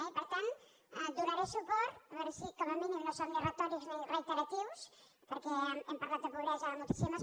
i per tant hi donaré suport a veure si com a mínim no som ni retòrics ni reiteratius perquè hem parlat de pobresa moltíssimes